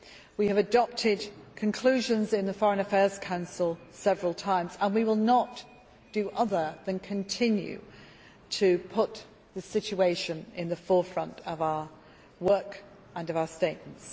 We have adopted conclusions in the Foreign Affairs Council several times and we will not do other than continue to put the situation in the forefront of our work and of our statements.